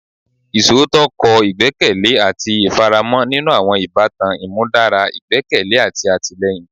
Iṣootọ kọ igbẹkẹle ati ifaramo ninu awọn ibatan, imudara igbẹkẹle ati atilẹyin